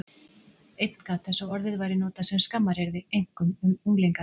Einn gat þess að orðið væri notað sem skammaryrði, einkum um unglinga.